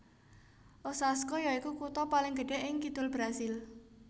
Osasco yaiku kutha paling gedhé ing Kidul Brasil